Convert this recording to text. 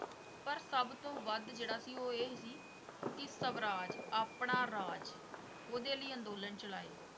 ਪਰ ਸੱਭ ਤੋਂ ਵੱਧ ਜਿਹੜਾ ਸੀ ਉਹ ਇਹ ਸੀ ਕਿ ਸਵਰਾਜ, ਆਪਣਾ ਰਾਜ ਉਦੇ ਲਈ ਅੰਦੋਲਨ ਚਲਾਏ।